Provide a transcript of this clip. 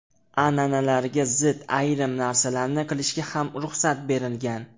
An’analarga zid ayrim narsalarni qilishga ham ruxsat berilgan.